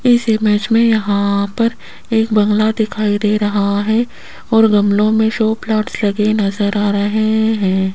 इस इमेज में यहां पर एक बंगला दिखाई दे रहा है और गमलों में शो प्लांट लगे नजर आ रहे हैं।